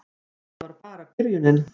Og þetta var bara byrjunin.